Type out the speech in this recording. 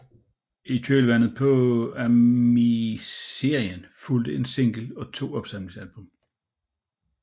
I kølvandet på animeserien fulgte en single og to opsamlingsalbum